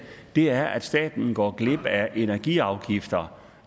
er at staten går glip af energiafgifter